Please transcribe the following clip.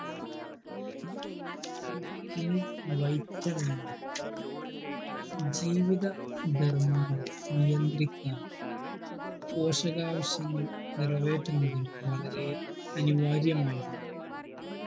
ഇനി vitamin ജീവിത ധർമ്മങ്ങളെ നിയന്ത്രിക്കാനും പോഷകാവശ്യങ്ങൾ നിറവേറ്റുന്നതിനും വളരെ അനിവാര്യമയതും